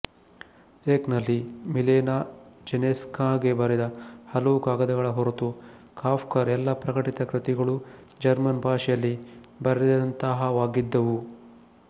ಝೆಕ್ ನಲ್ಲಿ ಮಿಲೇನಾ ಜೆಸೆನ್ಸ್ಕಾಗೆ ಬರೆದ ಹಲವು ಕಾಗದಗಳ ಹೊರತು ಕಾಫ್ಕರ ಎಲ್ಲಾ ಪ್ರಕಟಿತ ಕೃತಿಗಳೂ ಜರ್ಮನ್ ಭಾಷೆಯಲ್ಲಿ ಬರೆದಂತಹವಾಗಿದ್ದವು